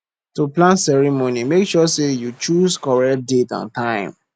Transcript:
to plan ceremony make sure say you choose correct date and time